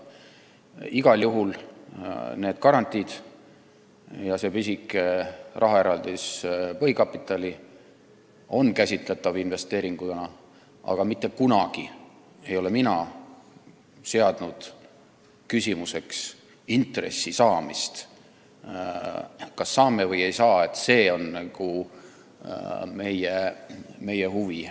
Ja igal juhul on need garantiid ja see pisike rahaeraldis põhikapitali käsitatavad investeeringuna, aga mitte kunagi ei ole mina nimetanud eesmärgina intressi saamist – kas me ikka saame seda, et see on nagu meie huvi.